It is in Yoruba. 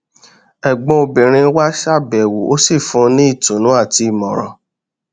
ẹgbọn obìnrin wá ṣàbẹwò ó sì fún un ní ìtùnú àti ìmọràn